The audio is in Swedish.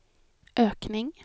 ökning